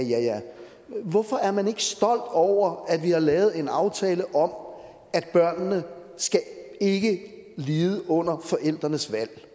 men hvorfor er man ikke stolt over at vi har lavet en aftale om at børnene ikke lide under forældrenes valg